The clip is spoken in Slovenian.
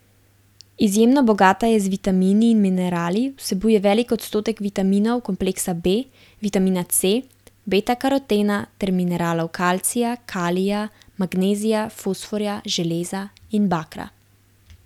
Izjemno bogata je z vitamini in minerali, vsebuje velik odstotek vitaminov kompleksa B, vitamina C, betakarotena ter mineralov kalcija, kalija, magnezija, fosforja, železa in bakra.